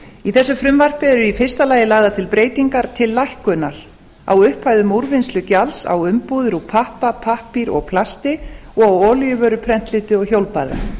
í þessu frumvarpi eru í fyrsta lagi lagðar til breytingar til lækkunar á upphæðum úrvinnslugjalds á umbúðir úr pappa pappír og plasti og á olíuvörum prentlitum og hjólbörðum